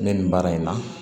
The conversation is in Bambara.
Ne nin baara in na